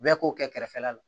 Bɛɛ k'o kɛ kɛrɛfɛla la